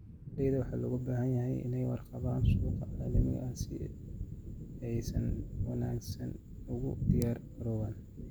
Beeralayda waxaa looga baahan yahay inay ka warqabaan suuqa caalamiga ah si ay si wanaagsan ugu diyaar garoobaan.